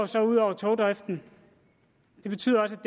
så ud over togdriften det betyder også